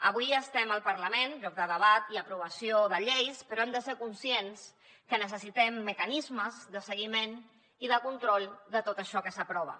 avui estem al parlament lloc de debat i aprovació de lleis però hem de ser conscients que necessitem mecanismes de seguiment i de control de tot això que s’aprova